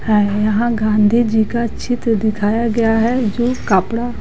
है यहाँ गांधी जी का चित्र दिखाया गया है जो कापड़ा--